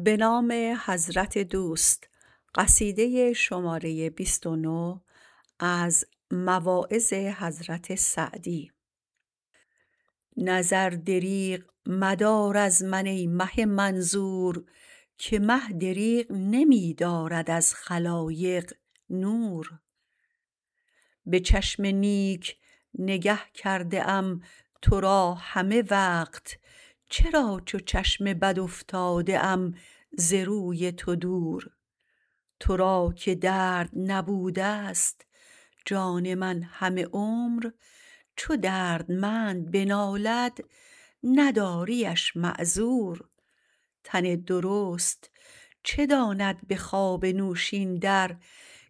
نظر دریغ مدار از من ای مه منظور که مه دریغ نمی دارد از خلایق نور به چشم نیک نگه کرده ام تو را همه وقت چرا چو چشم بد افتاده ام ز روی تو دور تو را که درد نبودست جان من همه عمر چو دردمند بنالد نداریش معذور تن درست چه داند به خواب نوشین در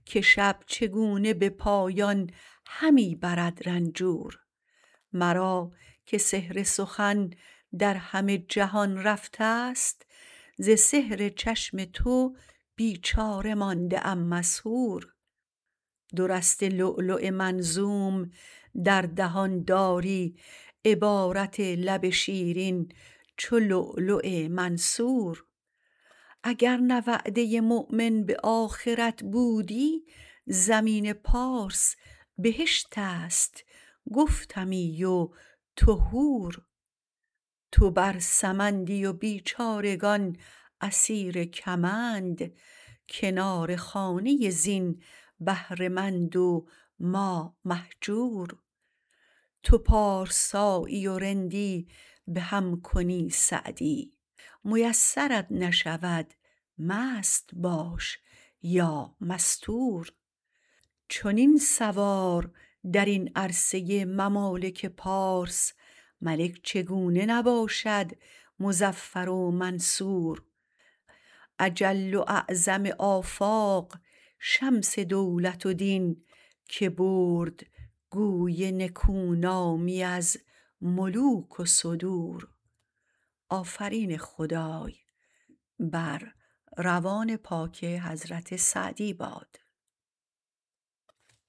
که شب چگونه به پایان همی برد رنجور مرا که سحر سخن در همه جهان رفتست ز سحر چشم تو بیچاره مانده ام مسحور دو رسته لؤلؤ منظوم در دهان داری عبارت لب شیرین چو لؤلؤ منثور اگر نه وعده مؤمن به آخرت بودی زمین پارس بهشتست گفتمی و تو حور تو بر سمندی و بیچارگان اسیر کمند کنار خانه زین بهره مند و ما مهجور تو پارسایی و رندی به هم کنی سعدی میسرت نشود مست باش یا مستور چنین سوار درین عرصه ممالک پارس ملک چگونه نباشد مظفر و منصور اجل و اعظم آفاق شمس دولت و دین که برد گوی نکو نامی از ملوک و صدور